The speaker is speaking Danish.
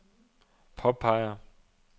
påpeger